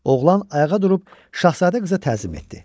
Oğlan ayağa durub şahzadə qıza təzim etdi.